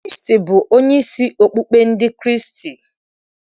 Kraịstị bụ onyeisi okpukpe ndị Kraịstị.